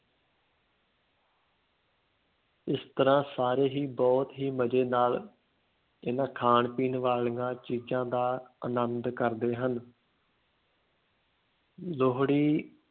ਇਸ ਤਰ੍ਹਾਂ ਸਾਰੇ ਹੀ ਬਹੁਤ ਹੀ ਮਜ਼ੇ ਨਾਲ ਇਹਨਾਂ ਖਾਣ ਪੀਣ ਵਾਲੀਆਂ ਚੀਜ਼ਾਂ ਦਾ ਆਨੰਦ ਕਰਦੇ ਹਨ ਲੋਹੜੀ